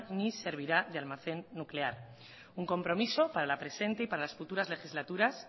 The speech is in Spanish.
ni servirá de almacén nuclear un compromiso para la presente y para las futuras legislaturas